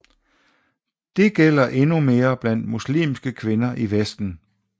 Det gælder endnu mere blandt muslimske kvinder i Vesten